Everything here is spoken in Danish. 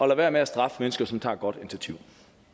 være med at straffe mennesker som tager et godt initiativ